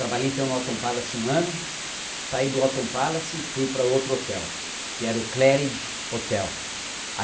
Trabalhei então no Autumn Palace um ano, saí do Autumn Palace e fui para outro hotel, que era o Cleridge Hotel